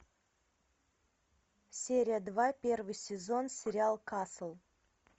серия два первый сезон сериал касл